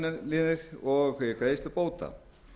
skattaívilnanir og greiðslu bóta